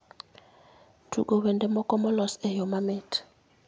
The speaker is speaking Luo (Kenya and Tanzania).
tugo wende moko molos e yo mamit